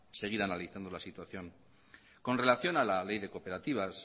seguir analizando la situación con relación a la ley de cooperativas